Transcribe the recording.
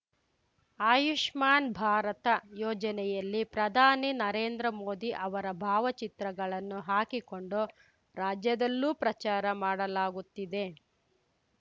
ಆಯುಷ್ಮಾನ್‌ ಭಾರತ ಯೋಜನೆಯಲ್ಲಿ ಪ್ರಧಾನಿ ನರೇಂದ್ರ ಮೋದಿ ಅವರ ಭಾವಚಿತ್ರಗಳನ್ನು ಹಾಕಿಕೊಂಡು ರಾಜ್ಯದಲ್ಲೂ ಪ್ರಚಾರ ಮಾಡಲಾಗುತ್ತಿದೆ